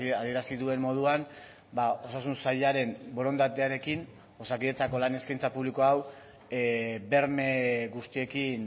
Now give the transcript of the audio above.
adierazi duen moduan osasun sailaren borondatearekin osakidetzako lan eskaintza publiko hau berme guztiekin